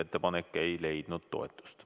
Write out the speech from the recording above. Ettepanek ei leidnud toetust.